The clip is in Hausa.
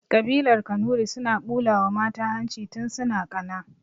Ƙabilar kanuri suna ɓulawa mata hanci tun suna ƙana